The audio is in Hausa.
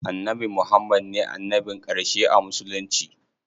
Annabi Muhammad ne annabin ƙarshe a musulunci.